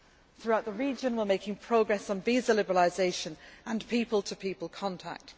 Throughout the region, we are making progress on visa liberalisation and people to people contact.